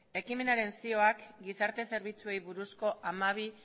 ekimenaren zihoak gizarte zerbitzuei buruzko hamabi